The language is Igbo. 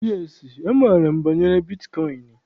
Yes, amaara m banyere bitkọịn.